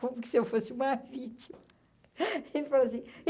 Como que se eu fosse uma vítima? ele falou assim e